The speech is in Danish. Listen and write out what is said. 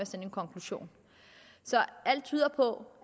sådan konklusion så alt tyder på